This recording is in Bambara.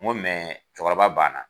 Ngo mɛɛ cɔkɔrɔba banna